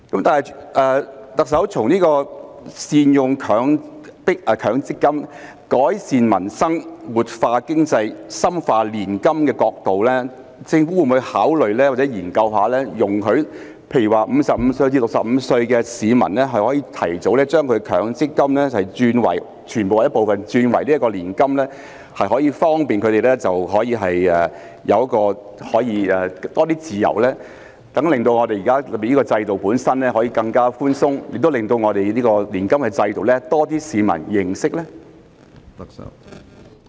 特首，從善用強積金、改善民生、活化經濟、深化年金的角度，政府會否考慮或研究容許55歲至65歲的市民可以提早將強積金的全部或部分轉為年金，方便他們有更多自由，令現在的制度更寬鬆，亦令年金制度有更多市民認識？